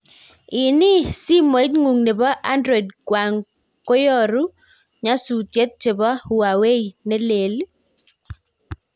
Ini, simoitngu nepo android kwang koyoru nyasutet chepo huawei ne lee?